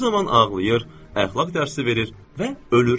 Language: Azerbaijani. Bu zaman ağlayır, əxlaq dərsi verir və ölür.